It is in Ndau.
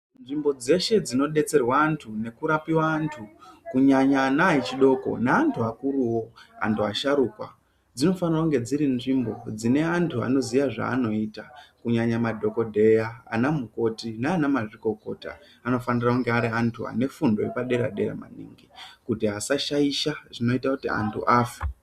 Nzvimbo dzeshe dzino detserwa antu neku rapiwa antu kunyanya ana echidoko ne antu akuruwo antu ashurukwa dzinofanira kunge dziri nzvimbo dzene antu anoziya zvaanoita kunyanya madhokodheya ana mukoti nana mazvikokota anofanira kunge ari antu ane fundo yepa dera dera maningi kuti asa shaisha zvinoita kuti antu afe.